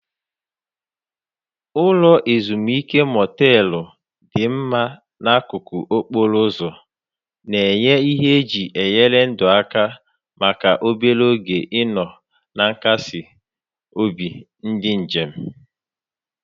Ụlọ ezimuike motelu dị mma n'akụkụ okporo ụzọ, na-enye ihe eji enyere ndụ aka maka obere oge ịnọ na nkasi obi ndị njem.